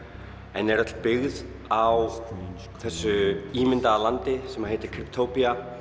en er öll byggð á þessu ímyndaða landi sem heitir